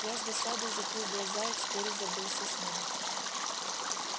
я с досадою закрыл глаза и вскоре забылся сном